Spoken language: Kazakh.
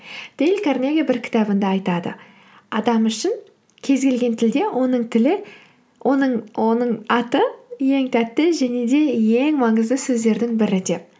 дейл карнеги бір кітабында айтады адам үшін кез келген тілде оның аты ең тәтті және де ең маңызды сөздердің бірі деп